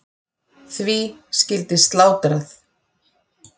Því skyldi slátrað.